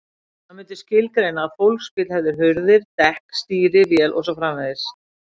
Hann myndi skilgreina að fólksbíll hefði hurðir, dekk, stýri, vél og svo framvegis.